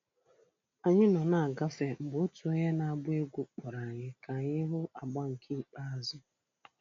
Anyị nọ na-agafe, mgbe otu onye na-agba egwú kpọrọ anyị ka anyị hụ agba nke ikpeazụ